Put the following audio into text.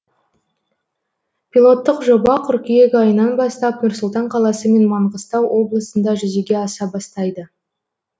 пилоттық жоба қыркүйек айынан бастап нұр сұлтан қаласы мен маңғыстау облысында жүзеге аса бастайды